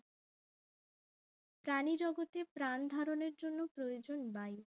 প্রাণিজগতে প্রাণ ধরণের জন্য প্রয়োজন বায়ু